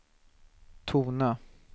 tona